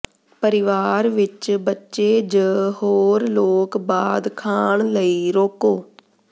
ਪਰਿਵਾਰ ਵਿੱਚ ਬੱਚੇ ਜ ਹੋਰ ਲੋਕ ਬਾਅਦ ਖਾਣ ਲਈ ਰੋਕੋ